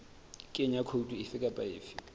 kenya khoutu efe kapa efe